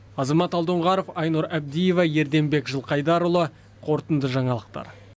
азамат алдоңғаров айнұр әбдиева ерденбек жылқайдарұлы қорытынды жаңалықтар